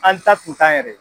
An ta k'u ta yɛrɛ ye.